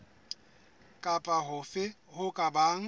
kapa hofe ho ka bang